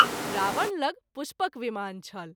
रावण लग पुष्पक विमान छल।